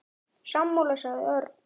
Sammála sagði Örn.